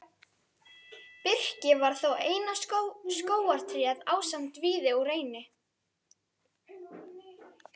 Birki var þá eina skógartréð ásamt víði og reyni.